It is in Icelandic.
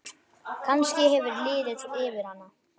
Kannski hefur liðið yfir hana?